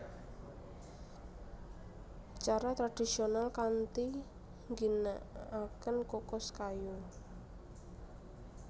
Cara tradisional kanthi ngginakaken kukus kayu